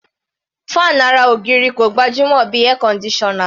Fan ara ògiri kò gbajúmọ̀ bí Air conditioner.